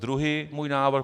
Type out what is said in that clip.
Druhý můj návrh.